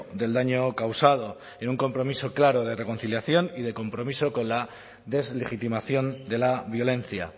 del daño causado en un compromiso claro de reconciliación y de compromiso con la deslegitimación de la violencia